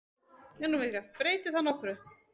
Breytir það nokkru?